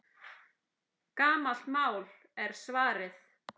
Gamalt mál, er svarið.